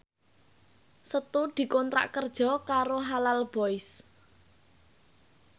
Setu dikontrak kerja karo Halal Boys